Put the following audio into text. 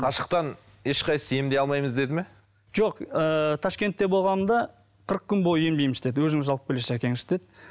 қашықтан ешқайсысы емдей алмаймыз деді ме жоқ ыыы ташкентте болғанымда қырық күн бойы емдейміз деді өзіңіз алып келесіз әкеңізді деді